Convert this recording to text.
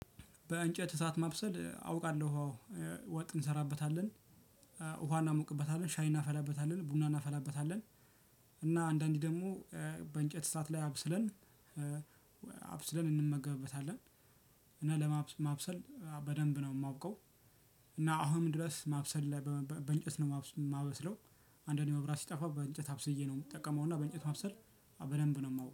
በእንጨት እሳት ማብሰል አውቃለሁ አዎ ወጥ እንሰራበታለን። ውሃ እናሞቅበታለን ሻይ እናፈላበታለን ቡና እናፈላበታለን። እና አንዳንዴ ደግሞ በእንጨት ስርዓት ላይ አብስለን አብስለን እንመገብበታለን። እና ማብሰል በደንብ ነው የማውቀው። እና አሁን ድረስ ማብሰል ላይ በእንጨት ነው የማበስለው። አንዳንዴ መብራት ሲጠፋ በእንጨት አብስዬ ነው ምጠቀመውና በእንጨቱ ማብሰል በደንብ ነው የማውቀው